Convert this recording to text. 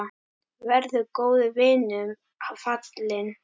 Verður góðum vinum falinn.